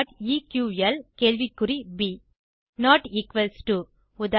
aeqlப் not equals to Uda